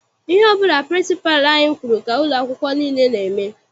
Ihe ọbụla pịrịnsịpalụ anyị kwụrụ ka ụlọ akwụkwọ nile n'eme.